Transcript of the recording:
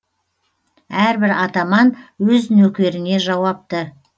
әрбір атаман өз нөкеріне жауапты